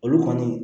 Olu kɔni